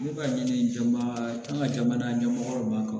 Ne b'a ɲini jamana ɲɛmɔgɔ kan